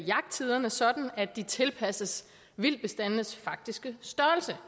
jagttiderne sådan at de tilpasses vildtbestandenes faktiske størrelse